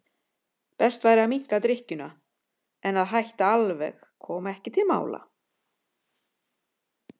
Best væri að minnka drykkjuna en að hætta alveg kom ekki til mála.